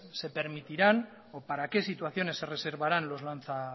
se permitirán o para qué situaciones se reservarán los lanza